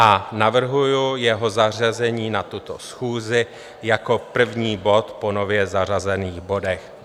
A navrhuji jeho zařazení na tuto schůzi jako první bod po nově zařazených bodech.